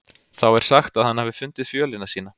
Þá er sagt að hann hafi fundið fjölina sína.